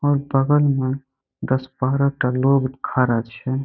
और बगल में दस-बारह टा लोग खड़ा छै।